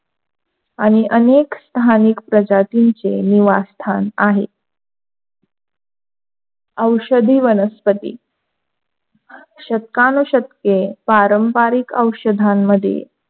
आणि अनेक धान्य कदाचितेचे निवासस्थान आहे, औषधी वनस्पती शतकानू शतके पारंपारिक औषधांमध्ये,